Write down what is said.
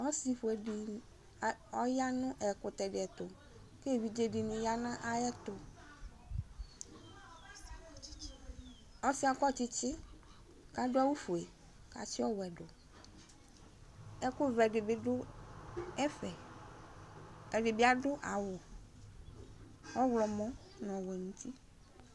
ɔsiƒʋedi a ɔyanʋ ɛkʋtɛdiɛtʋ evidzedini ɔyanʋ ayɛtʋ ɔsiɛ akɔtsitsi adʋ awʋ ƒʋe katsi ɔwɛdʋ ɛkʋvɛdibi dʋ ɛƒɛ ɛdibi adʋ awʋ ɔwlɔmɔ